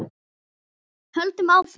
Höldum áfram.